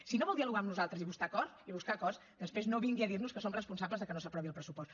si no vol dialogar amb nosaltres i buscar acords després no vingui a dir nos que som responsables que no s’aprovi el pressupost